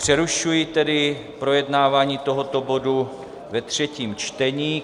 Přerušuji tedy projednávání tohoto bodu ve třetím čtení.